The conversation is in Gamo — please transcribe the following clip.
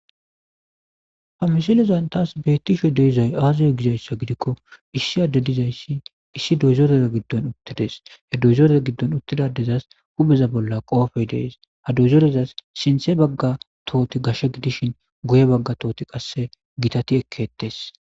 Ha mishilezan taas beettisho deizay aazaya gizayssa gidikko issi adde dizayssi issi doyzorera giddon uttides he duyzorera giddon uttidadezas hubeza bolla qoofey dees ha duyzorezas sinthe bagga tooti gashshe gidishin goye bagga tooti qasse gitati ekkettes.